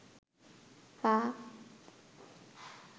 পা